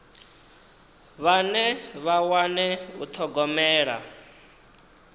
vhane vha wane u thogomela